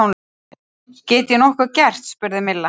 Get ég nokkuð gert? spurði Milla.